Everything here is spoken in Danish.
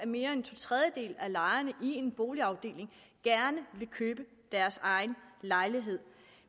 mere end to tredjedele af lejerne i en boligafdeling gerne vil købe deres egen lejlighed